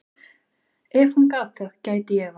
Ef hún gat það, gæti ég það.